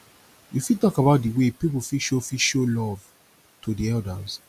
you fit talk about di way people fit show fit show love to di elders